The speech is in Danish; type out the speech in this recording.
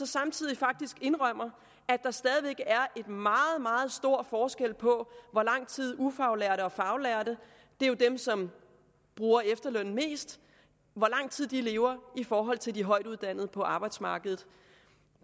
samtidig faktisk indrømmer at der stadig væk er en meget meget stor forskel på hvor lang tid ufaglærte og faglærte det er jo dem som bruger efterlønnen mest lever i forhold til de højtuddannede på arbejdsmarkedet